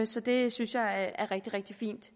så det synes jeg er rigtig rigtig fint